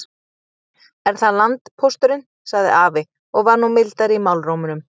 Er það landpósturinn, sagði afi og var nú mildari í málrómnum.